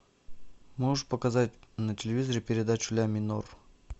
можешь показать на телевизоре передачу ля минор